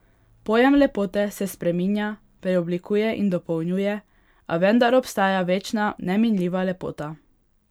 Pojem lepote se spreminja, preoblikuje in dopolnjuje, a vendar obstaja večna, neminljiva lepota.